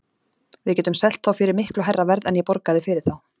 Við getum selt þá fyrir miklu hærra verð en ég borgaði fyrir þá.